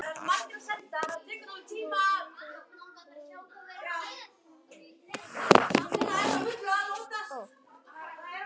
Kynbundinn launamunur minnkar